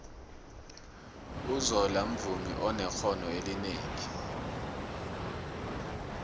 uzola mvumi onexhono elinengi